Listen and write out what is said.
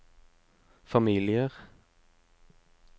familier